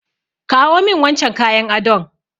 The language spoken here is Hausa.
Kawo min wancan kayan adon!